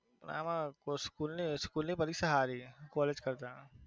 આમ school school ની પરીક્ષા સારી college કરતા.